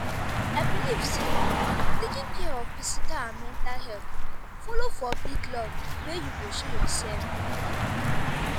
i believe say taking care of physical and mental health follow for big love wey you go show yourself.